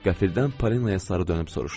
Qəfildən Polinaya sarı dönüb soruşdum.